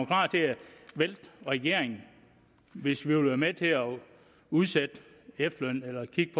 klar til at vælte regeringen hvis vi ville være med til at udsætte efterlønnen eller kigge